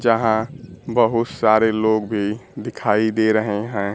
यहां बहुत सारे लोग भी दिखाई दे रहे हैं।